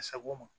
A sago ma